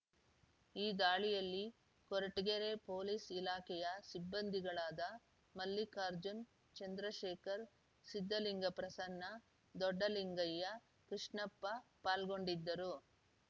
ಈ ದಾಳಿಯಲ್ಲಿ ಕೊರಟಗೆರೆ ಪೊಲೀಸ್ ಇಲಾಖೆಯ ಸಿಬ್ಬಂದಿಗಳಾದ ಮಲ್ಲಿಕಾರ್ಜುನ್ ಚಂದ್ರಶೇಖರ್ ಸಿದ್ದಲಿಂಗಪ್ರಸನ್ನ ದೊಡ್ಡಲಿಂಗಯ್ಯ ಕೃಷ್ಣಪ್ಪ ಪಾಲ್ಗೊಂಡಿದ್ದರು